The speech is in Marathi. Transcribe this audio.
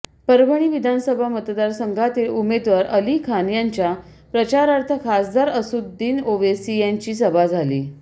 परभणी विधानसभा मतदारसंघातील उमेदवार अली खान यांच्या प्रचारार्थ खासदार असदुद्दीन ओवेसी यांची सभा झाली